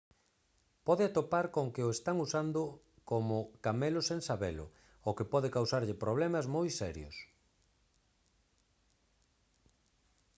pode atopar con que o están usando usado como camelo sen sabelo o que pode causarlle problemas moi serios